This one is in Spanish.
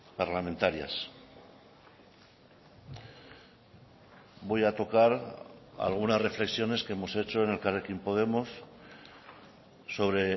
parlamentarias voy a tocar algunas reflexiones que hemos hecho en elkarrekin podemos sobre